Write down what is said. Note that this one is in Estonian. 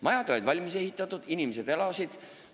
Majad olid valmis ehitatud, inimesed elasid seal.